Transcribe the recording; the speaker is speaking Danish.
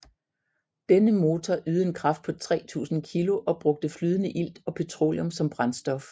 Denne motor ydede en kraft på 3000 kg og brugte flydende ilt og petroleum som brændstof